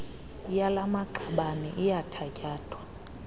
yala maqabane iyathatyathwa